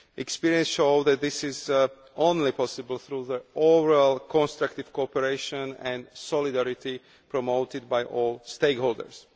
Experience shows that this is only possible through overall constructive cooperation and solidarity promoted by all the stakeholders.